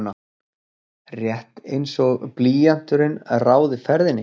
Rétt einsog blýanturinn ráði ferðinni.